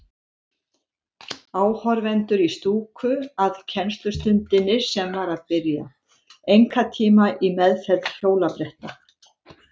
Áhorfendur í stúku að kennslustundinni sem var að byrja, einkatíma í meðferð hjólabretta.